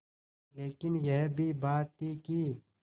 लेकिन यह भी बात थी कि